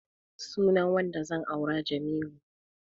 Sunan wanda zan aura Jamilu.